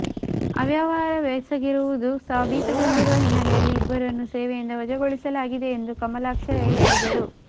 ಅವ್ಯವಹಾರವೆಸಗಿರುವುದು ಸಾಬೀತುಗೊಂಡಿರುವ ಹಿನ್ನೆಲೆಯಲ್ಲಿ ಇಬ್ಬರನ್ನೂ ಸೇವೆಯಿಂದ ವಜಾಗೊಳಿಸಲಾಗಿದೆ ಎಂದು ಕಮಲಾಕ್ಷ ರೈ ಹೇಳಿದರು